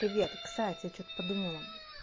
привет кстати я что-то подумала